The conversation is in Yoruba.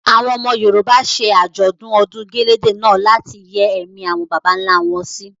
Àwọn ọmọ Yorùbá ṣe Àjọ̀dún ọdún gẹ̀lẹ̀dẹ̀ náà láti yẹ́ ẹ̀mí àwọn bàbà ńlá wọn sí.